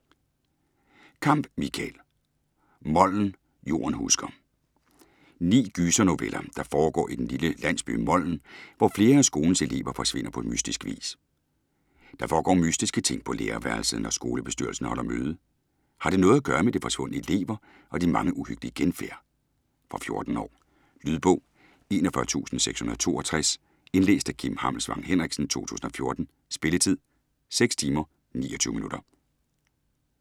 Kamp, Michael: Moln - jorden husker Ni gysernoveller, der foregår i den lille landsby Moln, hvor flere af skolens elever forsvinder på mystisk vis. Der foregår mystiske ting på lærerværelset, når skolebestyrelsen holder møde. Har det noget at gøre med de forsvundne elever og de mange uhyggelige genfærd? Fra 14 år. Lydbog 41662 Indlæst af Kim Hammelsvang Henriksen, 2014. Spilletid: 6 timer, 29 minutter.